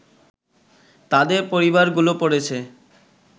তাদের পরিবারগুলো পড়েছে